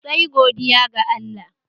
Sai godiya ga Allah